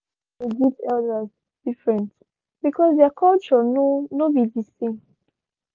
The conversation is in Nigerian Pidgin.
how them dey greet elders different because their culture no no be the same